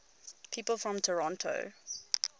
people from toronto